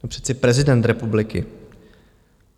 No přece prezident republiky.